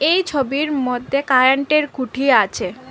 এই ছবির মধ্যে কারেন্টের খুঁটি আছে।